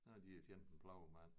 Så har de jo tjent en plovmand